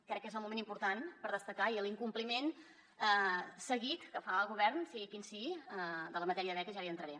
crec que és un moment important per destacar l’incompliment seguit que fa el govern sigui quin sigui de la matèria de beques i ara hi entraré